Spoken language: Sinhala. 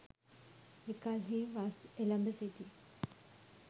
එකල්හී වස් එළඹ සිටි